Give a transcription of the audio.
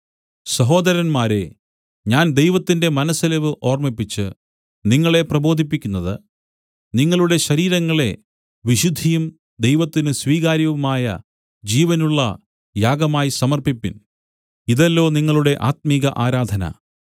സഹോദരന്മാരേ ഞാൻ ദൈവത്തിന്റെ മനസ്സലിവു ഓർമ്മിപ്പിച്ചു നിങ്ങളെ പ്രബോധിപ്പിക്കുന്നത് നിങ്ങളുടെ ശരീരങ്ങളെ വിശുദ്ധിയും ദൈവത്തിന് സ്വീകാര്യവുമായ ജീവനുള്ള യാഗമായി സമർപ്പിപ്പിൻ ഇതല്ലോ നിങ്ങളുടെ ആത്മിക ആരാധന